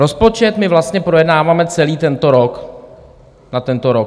Rozpočet my vlastně projednáváme celý tento rok na tento rok.